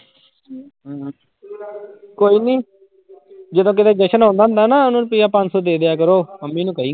ਕੋਈ ਨੀ ਜਦੋਂ ਕਿਤੇ ਜਸਨ ਆਉਂਦਾ ਹੁੰਦਾ ਨਾ ਉਹਨੂੰ ਰੁਪਇਆ ਪੰਜ ਸੌ ਦੇ ਦਿਆ ਕਰੋ, ਮੰਮੀ ਨੂੰ ਕਹੀ।